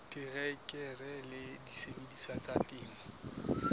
terekere le disebediswa tsa temo